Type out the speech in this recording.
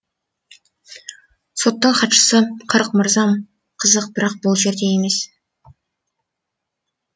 соттың хатшысы қырық мырзам қызық бірақ бұл жерде емес